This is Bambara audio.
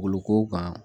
Boloko kan